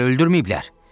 Ona hələ öldürməyiblər?